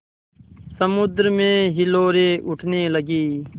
समुद्र में हिलोरें उठने लगीं